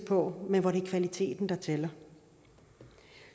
på men hvor det er kvaliteten der tæller